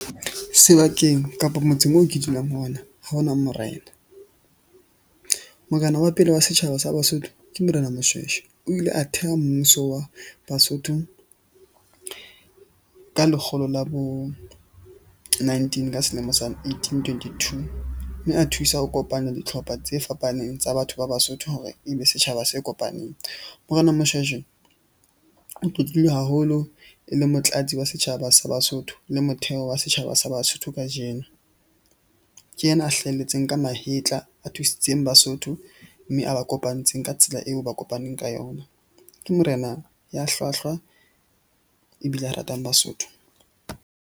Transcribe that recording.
Sebakeng kapo motseng oo ke dulang ho ona, ha ho na morena. Morena wa pele wa setjhaba sa Basotho ke morena Moshweshwe. O ile a theha mmuso wa Basotho ka lekgolo la bo nineteen ka selemo sa eighteen, twenty two. Mme a thusa ho kopanya ditlhopha tse fapaneng tsa batho ba Basotho hore e be setjhaba se kopaneng. Morena Moshweshwe o tlotlilwe haholo e le motlatsi wa setjhaba sa Basotho le motheo wa setjhaba sa Basotho kajeno. Ke yena a hlahelletseng ka mahetla, a thusitseng Basotho, mme a ba kopantseng ka tsela eo ba kopaneng ka yona, ke morena ya hlwahlwa ebile a ratang Basotho.